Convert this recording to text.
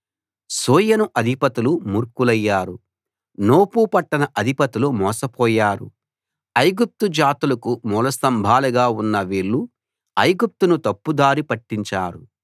సోయను అధిపతులు మూర్ఖులయ్యారు నోపు పట్టణ అధిపతులు మోసపోయారు ఐగుప్తు జాతులకు మూల స్తంభాలుగా ఉన్న వీళ్ళు ఐగుప్తును తప్పుదారి పట్టించారు